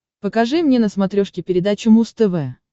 покажи мне на смотрешке передачу муз тв